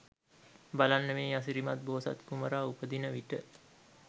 බලන්න මේ අසිරිමත් බෝසත් කුමරා උපදින විට